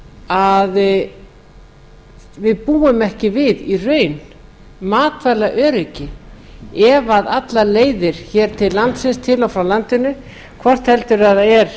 að við búum ekki við í reynd matvælaöryggi ef allar leiðir til og frá landinu hvort heldur er